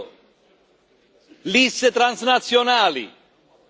Secondo liste transnazionali.